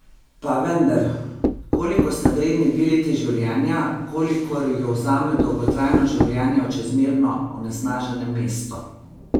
Pa vendar, koliko sta vredni dve leti življenja, kolikor ju vzame dolgotrajno življenje v čezmerno onesnaženem mestu?